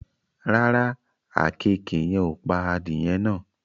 Rárá, àkekèé yen ò pa adìẹ náà